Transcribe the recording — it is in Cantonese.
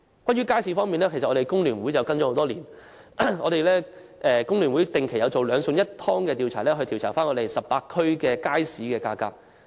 我們工聯會多年來一直跟進街市方面的問題，並且定期進行"兩餸一湯"調查，公布18區的街市價格。